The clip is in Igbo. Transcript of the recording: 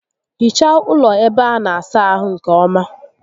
Hichaa ụlọ ébé a na-asa ahụ nkè ọma